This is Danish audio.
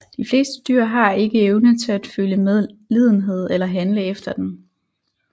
De fleste dyr har ikke evnen til at føle medlidenhed eller handle efter den